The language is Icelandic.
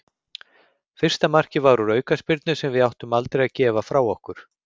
Fyrsta markið var úr aukaspyrnu sem við áttum aldrei að gefa frá okkur.